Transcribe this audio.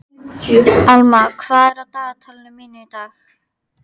Alma, hvað er á dagatalinu mínu í dag?